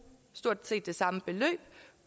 stort set det samme beløb